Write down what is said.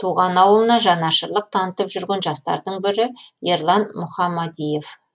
туған ауылына жанашырлық танытып жүрген жастардың бірі ерлан мұхамадиев